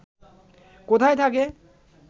কোথায় থাকে